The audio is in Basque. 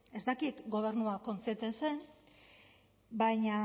ez dakit gobernua kontziente zen baina